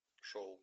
шоу